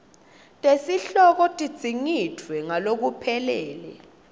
tesihloko tidzingidvwe ngalokuphelele